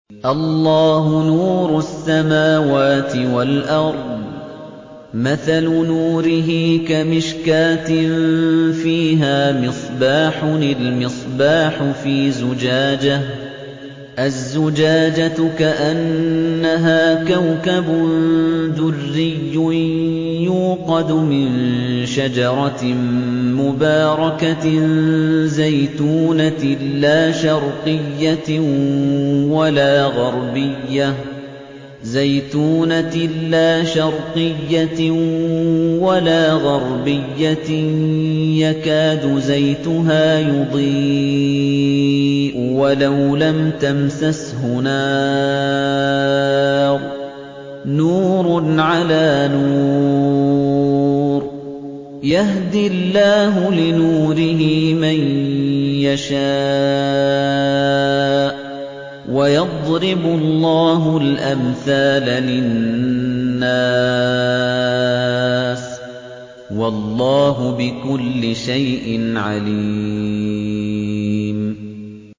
۞ اللَّهُ نُورُ السَّمَاوَاتِ وَالْأَرْضِ ۚ مَثَلُ نُورِهِ كَمِشْكَاةٍ فِيهَا مِصْبَاحٌ ۖ الْمِصْبَاحُ فِي زُجَاجَةٍ ۖ الزُّجَاجَةُ كَأَنَّهَا كَوْكَبٌ دُرِّيٌّ يُوقَدُ مِن شَجَرَةٍ مُّبَارَكَةٍ زَيْتُونَةٍ لَّا شَرْقِيَّةٍ وَلَا غَرْبِيَّةٍ يَكَادُ زَيْتُهَا يُضِيءُ وَلَوْ لَمْ تَمْسَسْهُ نَارٌ ۚ نُّورٌ عَلَىٰ نُورٍ ۗ يَهْدِي اللَّهُ لِنُورِهِ مَن يَشَاءُ ۚ وَيَضْرِبُ اللَّهُ الْأَمْثَالَ لِلنَّاسِ ۗ وَاللَّهُ بِكُلِّ شَيْءٍ عَلِيمٌ